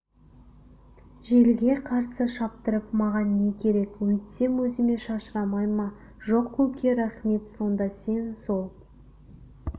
желге қарсы шаптырып маған не керек өйтсем өзіме шашырамай ма жоқ көке рахмет сонда сен сол